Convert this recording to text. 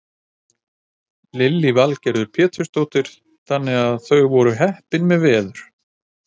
Lillý Valgerður Pétursdóttir: Þannig að þau voru heppin með veður?